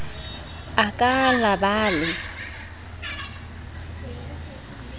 a ka la ba le